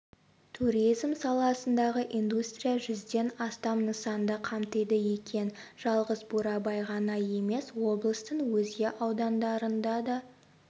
туризм саласындағы индустрия жүзден астам нысанды қамтиды екен жалғыз бурабай ғана емес облыстың өзге аудандарында да